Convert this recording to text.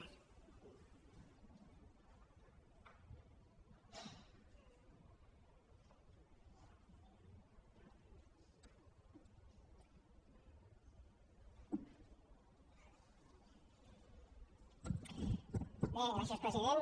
bé gràcies president